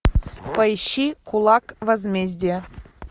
поищи кулак возмездия